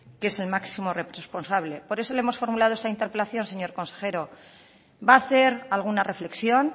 que es el máximo responsable por eso le hemos formulado esta interpelación señor consejero va a hacer alguna reflexión